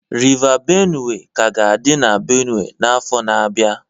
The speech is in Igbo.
River Benue ka ga-adị na Benue n'afọ na-abịa